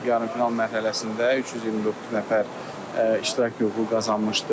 Yarımfinal mərhələsində 324 nəfər iştirak hüququ qazanmışdır.